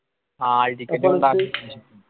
hall ticket